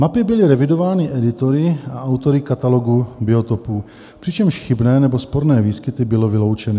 Mapy byly revidovány editory a autory Katalogu biotopů, přičemž chybné nebo sporné výskyty byly vyloučeny.